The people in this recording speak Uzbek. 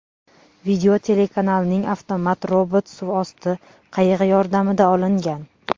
Video telekanalning avtomat-robot suvosti qayig‘i yordamida olingan.